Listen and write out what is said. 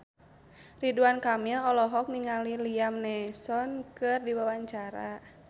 Ridwan Kamil olohok ningali Liam Neeson keur diwawancara